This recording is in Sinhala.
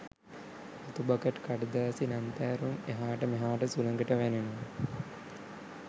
රතු බකට් කඩදාසි ලන්තෑරුම් එහාට මෙහාට සුළඟට වැනෙනවා.